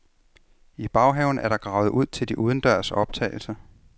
I baghaven er der gravet ud til de udendørs optagelser.